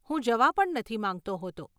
હું જવા પણ નથી માંગતો હોતો.